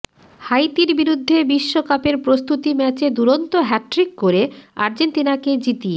হাইতির বিরুদ্ধে বিশ্বকাপের প্রস্তুতি ম্যাচে দুরন্ত হ্যাটট্রিক করে আর্জেন্তিনাকে জিতিয়ে